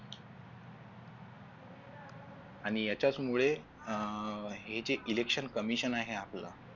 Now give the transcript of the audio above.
आणि याच्याचमुळे हे जे election commission जे आहे आपलं